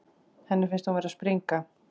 Henni finnst hún vera að springa.